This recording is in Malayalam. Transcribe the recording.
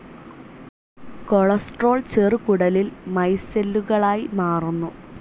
കൊളസ്റ്ററോൾ ചെറുകുടലിൽ മൈസെല്ലുകളായി മാറുന്നു.